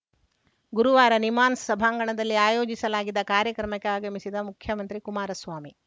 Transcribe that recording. ಗುರುವಾರ ನಿಮ್ಹಾನ್ಸ್‌ ಸಭಾಂಗಣದಲ್ಲಿ ಆಯೋಜಿಸಲಾಗಿದ್ದ ಕಾರ್ಯಕ್ರಮಕ್ಕೆ ಆಗಮಿಸಿದ ಮುಖ್ಯಮಂತ್ರಿ ಕುಮಾರಸ್ವಾಮಿ